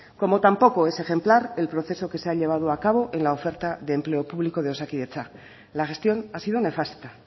como tampoco es ejemplar el proceso que se ha llevado a cabo en la oferta de empleo público de osakidetza la gestión ha sido nefasta